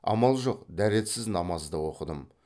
амал жоқ дәретсіз намаз да оқыдым